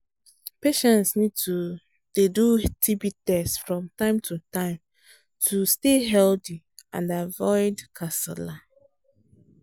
patients need to dey do tb test from time to time to stay healthy and avoid kasala